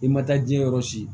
I ma taa jiyɛn yɔrɔ si